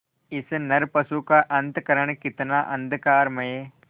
इस नरपशु का अंतःकरण कितना अंधकारमय